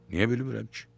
Niyə bilmirəm ki?